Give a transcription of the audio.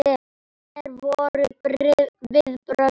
Hver voru viðbrögð fólks?